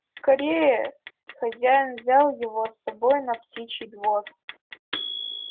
скорее хозяин взял его с собой на птичий двор